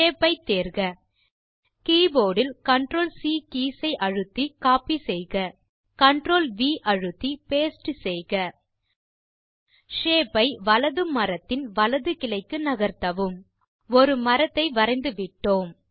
shape ஐ தேர்க keyboard இல் CTRL சி கீஸ் ஐ அழுத்தி கோப்பி செய்க CTRL வி அழுத்தி பாஸ்டே செய்க ஷேப் ஐ வலது மரத்தின் வலது கிளைக்கு நகர்த்தவும் ஒரு மரத்தை வரைந்துவிட்டோம்